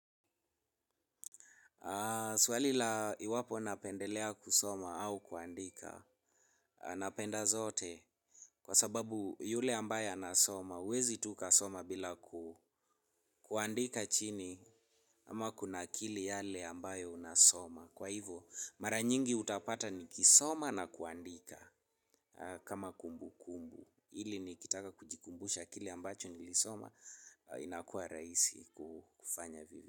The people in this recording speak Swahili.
Swali la iwapo napendelea kusoma au kuandika napenda zote kwa sababu yule ambaye anasoma uwezi tu ukasoma bila kuandika chini ama kuna akili yale ambayo unasoma. Kwa hivyo mara nyingi utapata ni kusoma na kuandika kama kumbu kumbu ili nikitaka kujikumbusha kile ambacho nilisoma inakua rahisi kufanya vile.